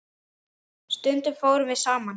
Stundum fórum við saman.